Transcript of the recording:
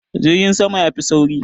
Jirgin sama ya fi sauri.